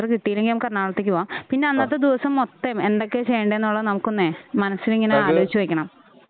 ആ തൃപ്പൂണിത്തറ കിട്ടിലങ്കിൽ നമുക്ക് എറണാകുളത്തേക്ക് പോകാം പിന്നെ അന്നത്തെ ദിവസം മൊത്തം എന്തൊക്കെ ചെയ്യണ്ടേ എന്നുള്ളതേ നമുക്കൊന്നേ മനസ്സിലിങ്ങനെ ആലോചിച്ചു വെക്കണം.